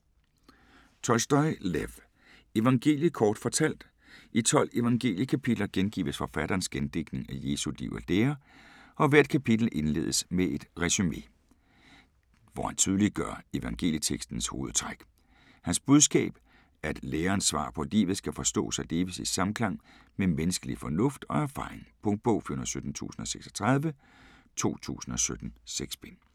Tolstoj, Lev: Evangeliet kort fortalt I 12 evangeliekapitler gengives forfatterens gendigtning af Jesu liv og lære og hvert kapitel indledes med et resumé, hvor han tydeliggøre evangelietekstens hovedtræk. Hans budskab: At lærens svar på livet skal forstås og leves i samklang med menneskelig fornuft og erfaring. Punktbog 417036 2017. 6 bind.